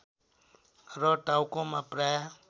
र टाउकोमा प्राय